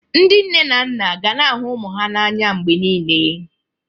Ndị nne na nna ga na-ahụ ụmụ ha n'anya mgbe niile